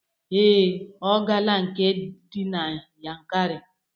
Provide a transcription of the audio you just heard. Ee, ọ gala nke dị na Yankarị